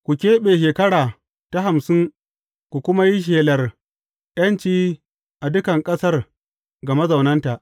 Ku keɓe shekara ta hamsin ku kuma yi shelar ’yanci a dukan ƙasar ga mazaunanta.